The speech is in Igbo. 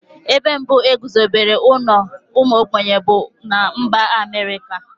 Ebe mbụ e guzobere ụlọ ụmụ ogbenye bụ na mba Amerịka.